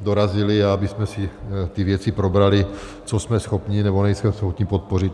dorazili a abychom si ty věci probrali, co jsme schopni, nebo nejsme schopni podpořit.